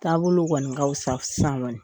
Taabolo kɔni ka fisa sisan kɔni